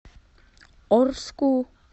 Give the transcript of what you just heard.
орску